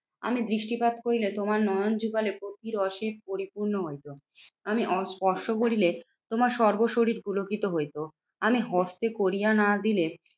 আমি দৃষ্টিপাত করিলে তোমার নয়ন যুগলে প্রতি রসে পরিপূর্ণ হইতো। আমি অস্পর্শ করিলে তোমার সর্ব শরীর ধুলোকিত হইতো। আমি হস্তে করিয়া না দিলে